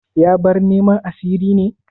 Ya bar neman a sirri ne?